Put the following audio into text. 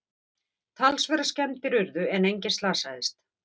Talsverðar skemmdir urðu en enginn slasaðist